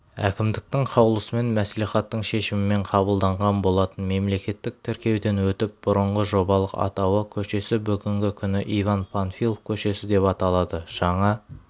әкімдіктің қаулысымен мәслихаттың шешімімен қабылданған болатын мемлекеттік тіркеуден өтіп бұрынғы жобалық атауы көшесі бүгінгі күні иван панфилов көшесі деп аталады жаңа